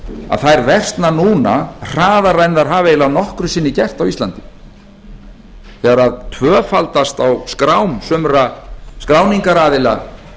að þær versna núna hraðar en þær hafa eiginlega nokkru sinni gert á íslandi þegar tvöfaldast á skrám sumra skráningaraðila